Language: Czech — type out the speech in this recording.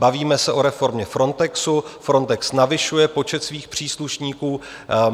Bavíme se o reformě Frontexu, Frontex navyšuje počet svých příslušníků.